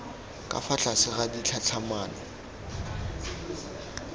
ka fa tlase ga ditlhatlhamano